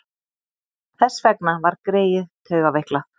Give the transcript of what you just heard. Þess vegna var greyið taugaveiklað.